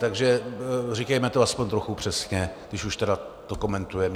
Takže říkejme to aspoň trochu přesně, když už to tedy komentujeme.